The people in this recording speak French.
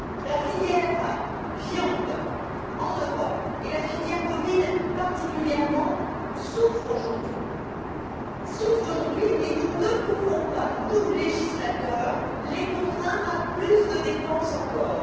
La filière de la viande en Europe et la filière bovine, particulièrement, souffrent aujourd'hui et nous ne pouvons pas, nous législateurs, les contraindre à plus de dépenses encore.